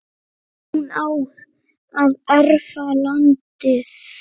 hún á að erfa landið.